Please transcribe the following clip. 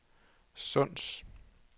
Sunds